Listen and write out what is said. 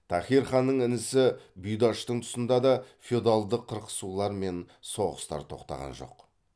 таһир ханның інісі бұйдаштың тұсында да феодалдық қырқысулар мен соғыстар тоқтаған жоқ